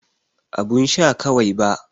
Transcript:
Abun sha kawai ba.